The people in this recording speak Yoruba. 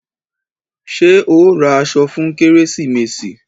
Ṣé ẹ ó ra aṣọ fún kérésìmesì?